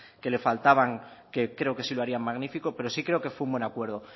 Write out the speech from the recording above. que le faltaban que creo que sí lo harían magnífico pero sí creo que fue un buen acuerdo